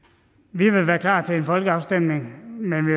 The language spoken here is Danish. vi vil være klar til en folkeafstemning men vi